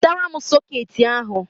Wetara m sọkeetị ahụ!